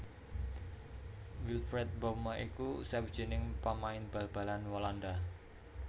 Wilfred Bouma iku sawijining pamain bal balan Walanda